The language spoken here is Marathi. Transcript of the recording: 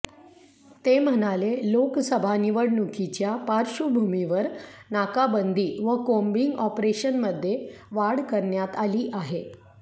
ते म्हणाले लोकसभा निवडणुकीच्या पार्श्वभूमिवर नाकाबंदी व कोम्बींग ऑपरेशनमध्ये वाढ करण्यात आली आहे